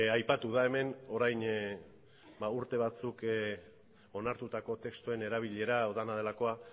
aipatu da hemen orain urte batzuk onartutako testuen erabilera